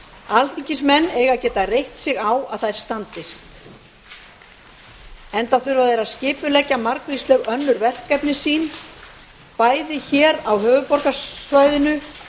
alþingismenn eiga að geta reitt sig á að þær standist enda þurfa þeir að skipuleggja margvísleg önnur verkefni sín bæði á höfuðborgarsvæðinu